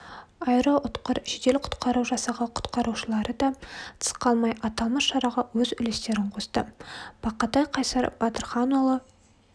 аэроұтқыр жедел құтқару жасағы құтқарушыларыда тыс қалмай аталмыш шараға өз үлестерін қосты бақатай қайсар батырханұлы